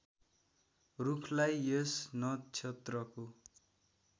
रूखलाई यस नक्षत्रको